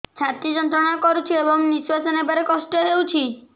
ଛାତି ଯନ୍ତ୍ରଣା କରୁଛି ଏବଂ ନିଶ୍ୱାସ ନେବାରେ କଷ୍ଟ ହେଉଛି